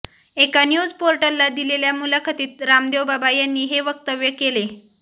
एका न्यूज पोर्टलला दिलेल्या मुलाखतीत रामदेव बाबा यांनी हे वक्तव्य केले